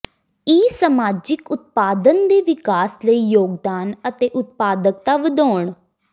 ਈ ਸਮਾਜਿਕ ਉਤਪਾਦਨ ਦੇ ਵਿਕਾਸ ਲਈ ਯੋਗਦਾਨ ਅਤੇ ਉਤਪਾਦਕਤਾ ਵਧਾਉਣ